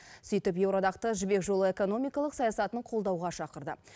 сөйтіп еуроодақты жібек жолы экономикалық саясатын қолдауға шақырды